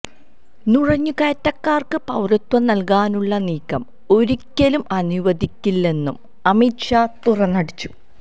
നുഴഞ്ഞുകയറ്റക്കാർക്ക് പൌരത്വം നല്കാനുള്ള നീക്കം ഒരിക്കലും അനുവദിക്കില്ലെന്നും അമിത് ഷാ തുറന്നടിച്ചു